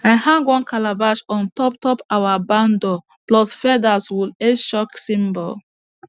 i hang one calabash on top top our barn door plus feathers will h chalk symbol